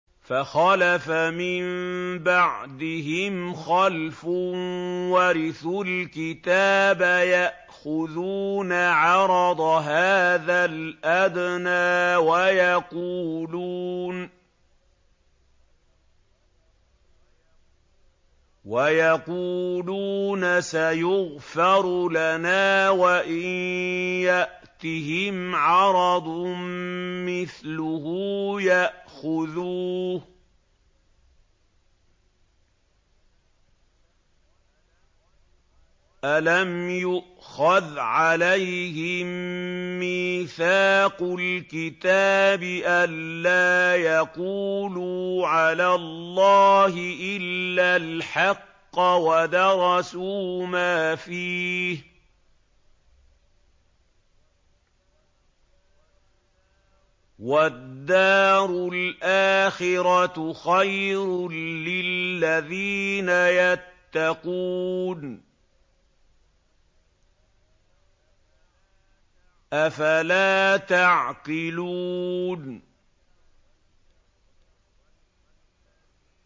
فَخَلَفَ مِن بَعْدِهِمْ خَلْفٌ وَرِثُوا الْكِتَابَ يَأْخُذُونَ عَرَضَ هَٰذَا الْأَدْنَىٰ وَيَقُولُونَ سَيُغْفَرُ لَنَا وَإِن يَأْتِهِمْ عَرَضٌ مِّثْلُهُ يَأْخُذُوهُ ۚ أَلَمْ يُؤْخَذْ عَلَيْهِم مِّيثَاقُ الْكِتَابِ أَن لَّا يَقُولُوا عَلَى اللَّهِ إِلَّا الْحَقَّ وَدَرَسُوا مَا فِيهِ ۗ وَالدَّارُ الْآخِرَةُ خَيْرٌ لِّلَّذِينَ يَتَّقُونَ ۗ أَفَلَا تَعْقِلُونَ